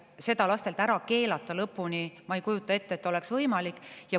Seda lastel lõpuni ära keelata – ma ei kujuta ette, et see oleks võimalik.